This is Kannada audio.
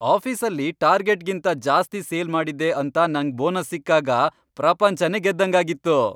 ಆಫೀಸಲ್ಲಿ ಟಾರ್ಗೆಟ್ಗಿಂತ ಜಾಸ್ತಿ ಸೇಲ್ ಮಾಡಿದ್ದೆ ಅಂತ ನಂಗ್ ಬೋನಸ್ ಸಿಕ್ಕಾಗ ಪ್ರಪಂಚಾನೆ ಗೆದ್ದಂಗಾಗಿತ್ತು.